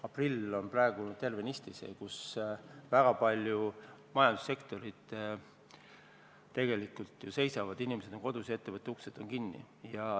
Aprill on tervenisti selline aeg, kus väga paljud majandussektorid tegelikult seisavad, inimesed on kodus ja ettevõtete uksed kinni.